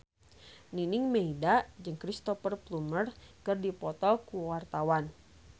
Nining Meida jeung Cristhoper Plumer keur dipoto ku wartawan